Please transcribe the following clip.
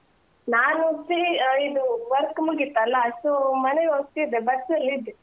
ನಾನು free ಆ ಇದು work ಮುಗಿತಲ್ಲ so ಮನೆಗೆ ಹೋಗ್ತಿದ್ದೆ bus ನಲ್ಲಿದ್ದೆ.